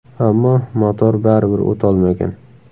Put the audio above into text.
Ammo motor baribir o‘t olmagan.